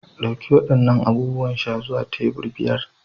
Ɗauki waɗannan abubuwan sha zuwa tebur biyar.